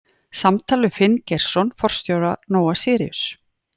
Samtal við Finn Geirsson forstjóra Nóa-Síríus.